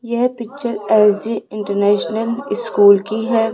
यह picture S G international school की है।